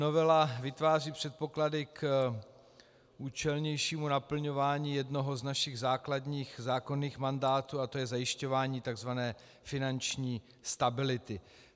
Novela vytváří předpoklady k účelnějšímu naplňování jednoho z našich základních zákonných mandátů a to je zajišťování tzv. finanční stability.